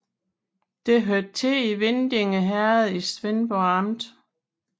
Det hørte til Vindinge Herred i Svendborg Amt